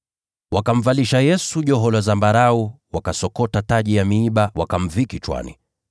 Wakamvalisha Yesu joho la zambarau, wakasokota taji ya miiba, wakamvika kichwani.